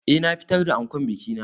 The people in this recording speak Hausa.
Eh na fitar da ankon biki na.